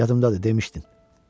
Yadımdadır, demişdin.